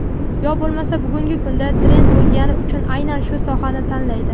yo bo‘lmasa bugungi kunda trend bo‘lgani uchun aynan o‘sha sohani tanlaydi.